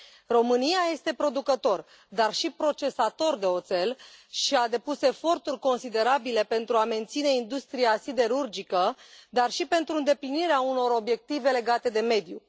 România este producător, dar și procesator de oțel și a depus eforturi considerabile pentru a menține industria siderurgică, dar și pentru îndeplinirea unor obiective legate de mediu.